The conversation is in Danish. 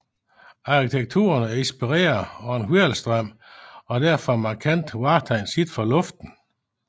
Arkitekturen er inspireret af en hvirvelstrøm og er derfor et markant vartegn set fra luften